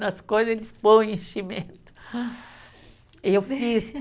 Nas coisas, eles põe enchimento, eu fiz